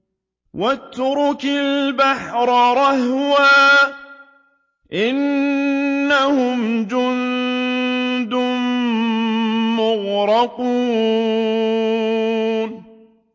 وَاتْرُكِ الْبَحْرَ رَهْوًا ۖ إِنَّهُمْ جُندٌ مُّغْرَقُونَ